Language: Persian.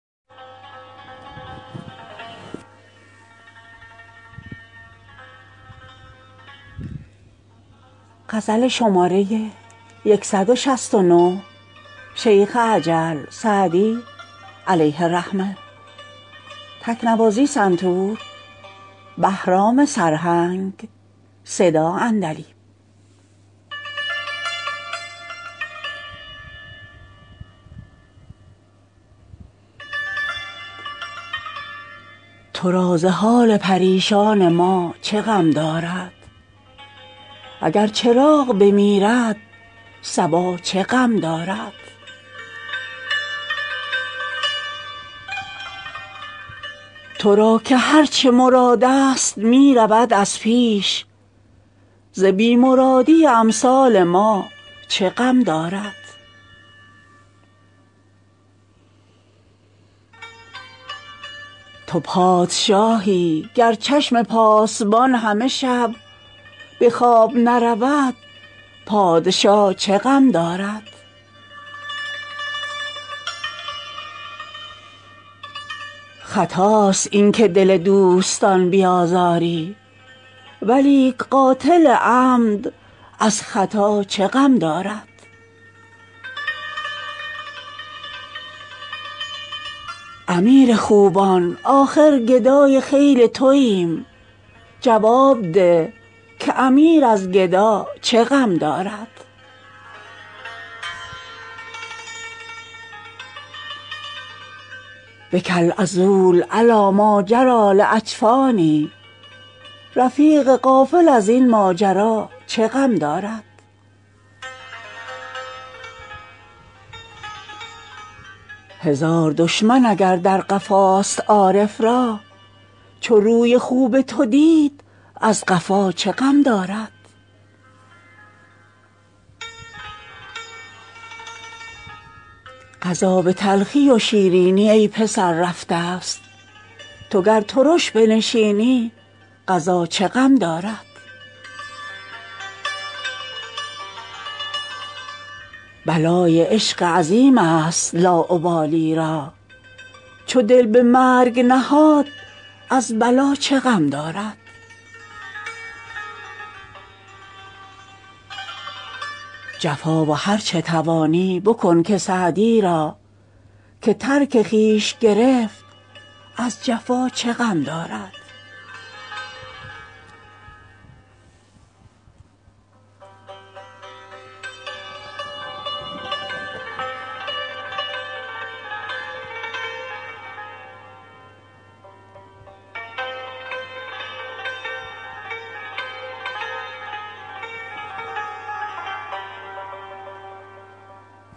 تو را ز حال پریشان ما چه غم دارد اگر چراغ بمیرد صبا چه غم دارد تو را که هر چه مرادست می رود از پیش ز بی مرادی امثال ما چه غم دارد تو پادشاهی گر چشم پاسبان همه شب به خواب درنرود پادشا چه غم دارد خطاست این که دل دوستان بیازاری ولیک قاتل عمد از خطا چه غم دارد امیر خوبان آخر گدای خیل توایم جواب ده که امیر از گدا چه غم دارد بکی العذول علی ماجری لاجفانی رفیق غافل از این ماجرا چه غم دارد هزار دشمن اگر در قفاست عارف را چو روی خوب تو دید از قفا چه غم دارد قضا به تلخی و شیرینی ای پسر رفتست تو گر ترش بنشینی قضا چه غم دارد بلای عشق عظیمست لاابالی را چو دل به مرگ نهاد از بلا چه غم دارد جفا و هر چه توانی بکن که سعدی را که ترک خویش گرفت از جفا چه غم دارد